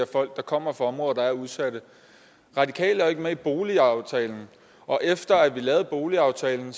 folk der kommer fra områder der er udsatte radikale er ikke med i boligaftalen og efter vi lavede boligaftalen